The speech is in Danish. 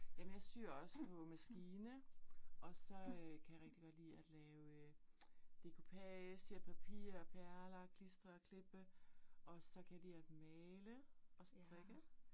Jamen jeg syr også på maskine. Og så øh kan jeg rigtig godt lide at lave decoupage, papir perler, klistre og klippe. Og så kan jeg lide at male og strikke